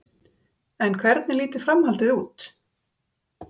En hvernig lítur framhaldið út?